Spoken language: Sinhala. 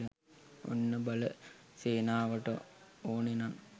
ඔන්න බල සේනාවට ඕනෙනං